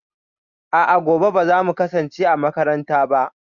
A'a, gobe ba za mu kasance a makaranta ba.